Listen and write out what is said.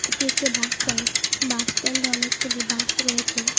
এটি একটি bus stand বাসস্ট্যান্ডে অনেকগুলি বাস রয়েছে।